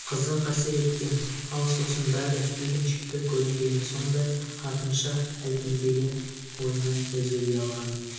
қызық әсер еткен ал сосын бәрі үйреншікті көрінгені сондай артынша әлгіндегі ойынан өзі ұялған